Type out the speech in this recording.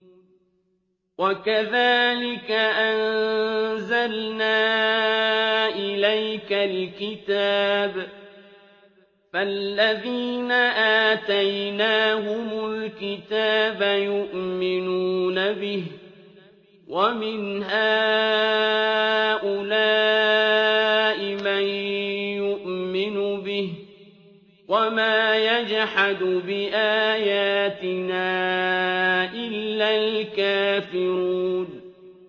وَكَذَٰلِكَ أَنزَلْنَا إِلَيْكَ الْكِتَابَ ۚ فَالَّذِينَ آتَيْنَاهُمُ الْكِتَابَ يُؤْمِنُونَ بِهِ ۖ وَمِنْ هَٰؤُلَاءِ مَن يُؤْمِنُ بِهِ ۚ وَمَا يَجْحَدُ بِآيَاتِنَا إِلَّا الْكَافِرُونَ